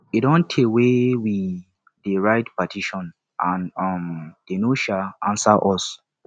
e don tey wey we dey write petition and um dey no um answer us